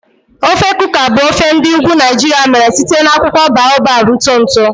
Ofe Kuka bụ ofe ndi ugwu Naijiria mere site na akwụkwọ baobab ntụ ntụ.